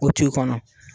O t'i kɔnɔ